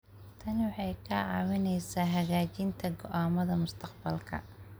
Tani waxay kaa caawinaysaa hagaajinta go'aamada mustaqbalka.